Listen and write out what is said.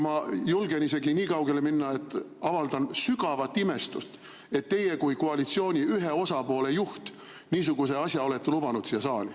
Ma julgen isegi nii kaugele minna, et avaldan sügavat imestust, et teie kui koalitsiooni ühe osapoole juht niisuguse asja olete lubanud siia saali.